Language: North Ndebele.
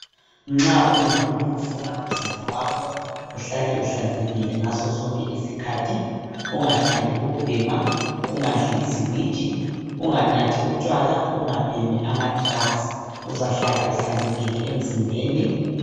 Nxa ungumuntu ufuna umzimba wakho uhlale uhlanzekile ngaso sonke isikhathi, ungathandi ukubhema, ungadli iziwiji, unganathi utshwala, ungabhemi amadrugs, uzahlala uhlanzekile emzimbeni.